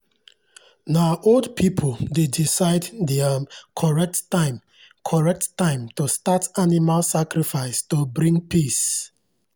na old people dey decide the um correct time correct time to start animal sacrifice to bring peace.